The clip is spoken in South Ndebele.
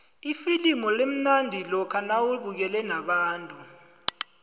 ifilimu limnandi lokha nawubukele nabantu